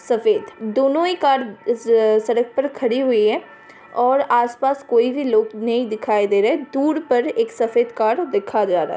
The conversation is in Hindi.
सफ़ेद दोनों ही कार इस सड़क पर खड़ी हुई है और आसपास कोई भी लोग नहीं दिखाई दे रहे। दूर पर एक सफेद कार देखा जा रहा --